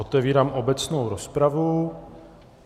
Otevírám obecnou rozpravu.